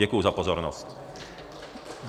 Děkuji za pozornost.